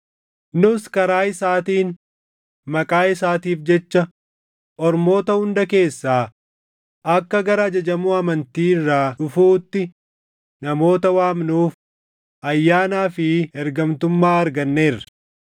Nus karaa isaatiin, maqaa isaatiif jecha ormoota hunda keessaa akka gara ajajamuu amantii irraa dhufuutti namoota waamnuuf ayyaanaa fi ergamtummaa arganneerra.